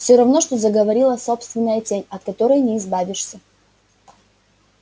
всё равно что заговорила собственная тень от которой не избавишься